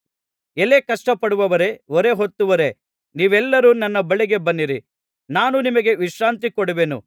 ಎಲೈ ಕಷ್ಟಪಡುವವರೇ ಹೊರೆಹೊತ್ತವರೇ ನೀವೆಲ್ಲರೂ ನನ್ನ ಬಳಿಗೆ ಬನ್ನಿರಿ ನಾನು ನಿಮಗೆ ವಿಶ್ರಾಂತಿ ಕೊಡುವೆನು